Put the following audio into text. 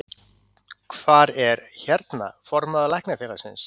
Hvar er, hérna, formaður Læknafélagsins?